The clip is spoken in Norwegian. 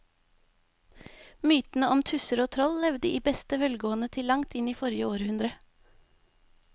Mytene om tusser og troll levde i beste velgående til langt inn i forrige århundre.